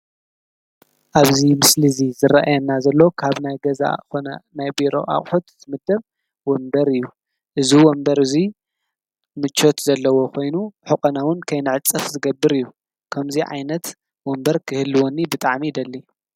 ኣብዚ ምስሊ እዚ ዝረእየና ዘሎ ካብ ናይ ገዛ ዝኾነ ናይ ቢሮ አቑሑት ዝምደብ ወንበር እዩ። እዚ ወንበር እዚ ምቾት ዘለዎ ኮይኑ ሕቆና እውን ከይንዕፀፍ ዝገብር እዩ ። ከምዚ ዓይነት ወንበር ክህልወኒ ብጣዕሚ ይደሊ።